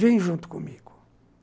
Vem junto comigo.